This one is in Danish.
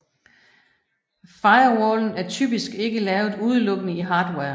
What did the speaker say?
Firewallen er typisk ikke lavet udelukkende i hardware